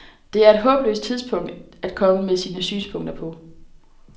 Det er et håbløst tidspunkt at komme med sine synspunkter på.